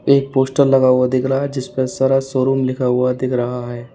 एक पोस्टर लगा हुआ दिख रहा है जिस पर सरस शोरूम लिखा हुआ दिख रहा है।